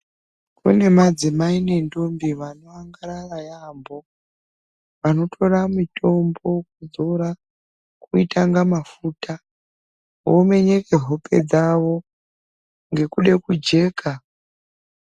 Kune madzimai nendombi vanoangarara yaambo , vanotora mitombo kuzora kuitanga mafuta vomenyeke hope dzavo ngekude kujeka .